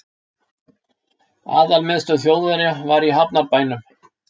Aðalmiðstöð Þjóðverja var í hafnarbænum